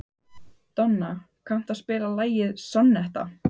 Hvað eiga þessir fiskar og menn sameiginlegt?